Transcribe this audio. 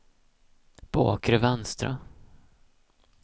bakre vänstra